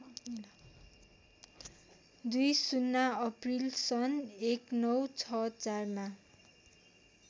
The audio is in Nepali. २० अप्रिल सन् १९६४ मा